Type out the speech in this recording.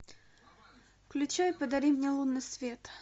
включай подари мне лунный свет